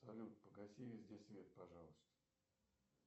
салют погаси везде свет пожалуйста